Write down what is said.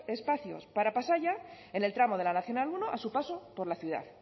espacios para pasaia en el tramo de la nmenos uno a su paso por la ciudad